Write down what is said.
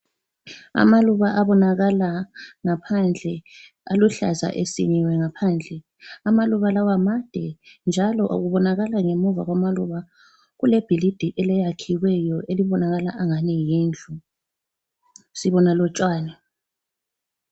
Amaluba abonakala ngaphandle, aluhlaza esikiwe ngaphandle. Amaluba lawa made njalo kubonakala ngaphandle kwamaluba kulebhilidi eliyakhiweyo elibonakala angani yindlu. Sibona lotshani.